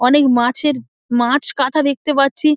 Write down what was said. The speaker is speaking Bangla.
অনেক মাছের মাছ কাঁটা দেখতে পাচ্ছি।